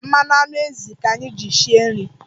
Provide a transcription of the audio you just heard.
Mmanụ anụ ezì ka anyị ji sie nri.